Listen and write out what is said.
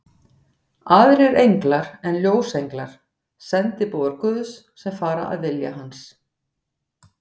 Aðrir englar eru ljósenglar, sendiboðar Guðs, sem fara að vilja hans.